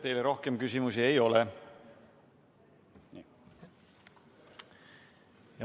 Teile rohkem küsimusi ei ole.